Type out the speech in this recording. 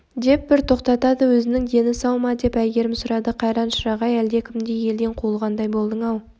деп бір тоқтады өзінің дені сау ма деп әйгерім сұрады қайран шырақ-ай әлдекімдей елден қуылғандай болдың-ау